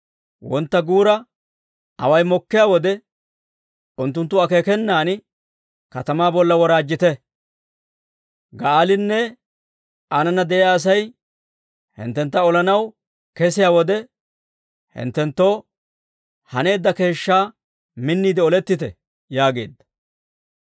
Wontta guura away kesiyaa wode, Unttunttu akeekenan katamaa bolla woraajjite; Ga'aalinne aanana de'iyaa Asay hinttentta olanaw kesiyaa wode, hinttenttoo haneedda keeshshaa minniide olettite» yaageedda.